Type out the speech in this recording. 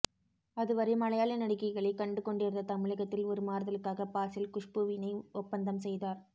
அதுவரை மலையாள நடிகைகளை கண்டுகொண்டிருந்த தமிழகத்தில் ஒரு மாறுதலுக்காக பாசில் குஷ்பூவினை ஒப்பந்தம் செய்தார்